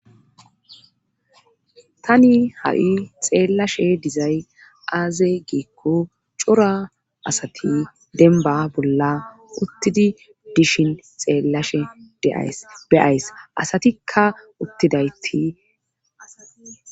tani ha7i xeellashe dizay aaze giikko cora asati denba bolla uttidi dishin xeellashe deyays asatikka uttidaytia